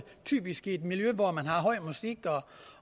typisk i et miljø hvor man har høj musik